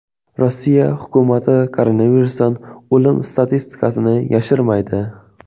Rossiya hukumati koronavirusdan o‘lim statistikasini yashirmaydi.